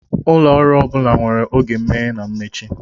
Ụlọ ọrụ ọ bụla nwere oge imeghe na mmechi.